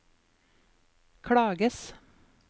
klages